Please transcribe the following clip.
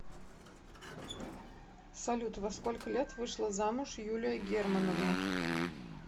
салют во сколько лет вышла замуж юлия германовна